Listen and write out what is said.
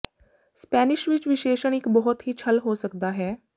Spanish ਵਿੱਚ ਵਿਸ਼ੇਸ਼ਣ ਇੱਕ ਬਹੁਤ ਹੀ ਛਲ ਹੋ ਸਕਦਾ ਹੈ